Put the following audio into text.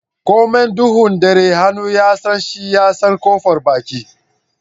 Komai duhun ɗare hannu ya San shi ya San kofar baki.